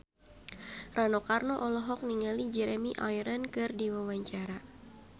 Rano Karno olohok ningali Jeremy Irons keur diwawancara